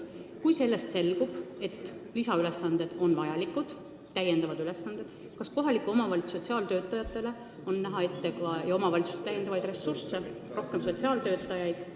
Kui nüüd selgub, et see töö on vajalik, kas siis kohalikele omavalitsustele on ette näha ka täiendavaid ressursse, rohkem sotsiaaltöötajaid?